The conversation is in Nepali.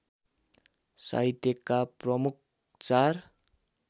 साहित्यका प्रमुख चार